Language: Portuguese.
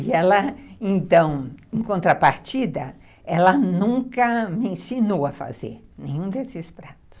E ela, então, em contrapartida, ela nunca me ensinou a fazer nenhum desses pratos.